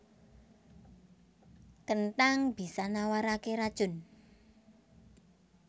Kenthang bisa nawaraké racun